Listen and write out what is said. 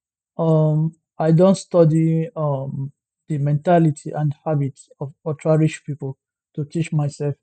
um i don study um di mentality and habits of ultrarich pipo to teach myself